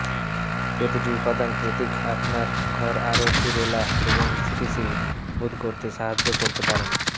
প্রতিটি উপাদান প্রতীক আপনার ঘর আরো সুরেলা এবং স্থিতিশীল বোধ করতে সাহায্য করতে পারেন